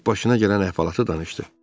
Zərrəcik başına gələn əhvalatı danışdı.